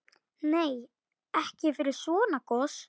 Nei, ekki fyrir svona gos.